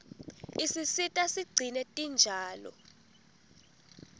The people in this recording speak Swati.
isisita sigcine tinjalo